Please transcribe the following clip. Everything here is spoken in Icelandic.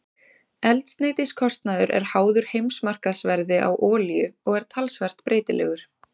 Eldsneytiskostnaður er háður heimsmarkaðsverði á olíu og er talsvert breytilegur.